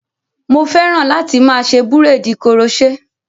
Mo fẹ́ran láti máa ṣe búréèdì koroṣé.